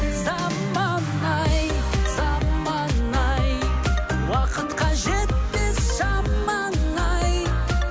заман ай заман ай уақытқа жетпес шамаң ай